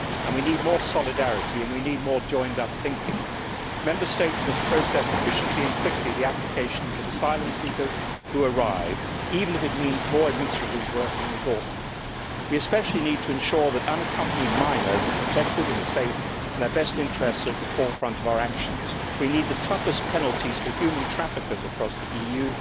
We need more solidarity and more joined up thinking. Member States must process efficiently and quickly the applications of asylum seekers who arrive, even if it means more administrative work and resources. We especially need to ensure that unaccompanied minors are protected and safe, and that their best interests are at the forefront of our actions. We need the toughest penalties for human traffickers across